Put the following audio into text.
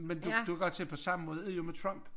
Men du du kan godt se på samme måde er det jo med trump